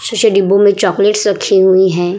शीशे डिब्बो में चॉकलेट्स रखी हुई है ।